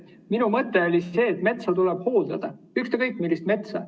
Minu mõte oli see, et metsa tuleb hooldada, ükskõik millist metsa.